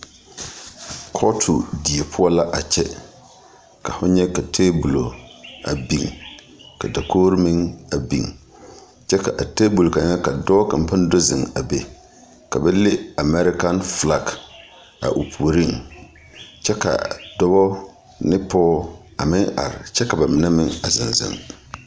Kɔɔto die poɔ la a kyɛ ka fo nyɛ ka teebulɔ a biŋ ka dakoɡro meŋ a biŋ kyɛ ka a teebul kaŋa ka dɔɔ kaŋ pãã do zeŋ a be ka ba leŋ Amɛɛrekan felaŋ a o puoriŋ kyɛ kyɛ ka dɔbɔ ane pɔɡebɔ are kyɛ ka ba mine yɛ zeŋzeŋ.